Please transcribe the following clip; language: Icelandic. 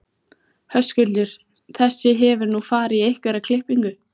Höskuldur: Þessi hefur nú farið í einhverja klippingu?